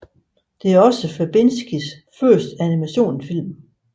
Det er også Verbinskis første animationsfilm